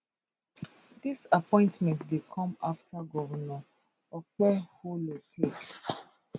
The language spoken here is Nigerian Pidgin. dis appointment dey come afta govnor okpebholo take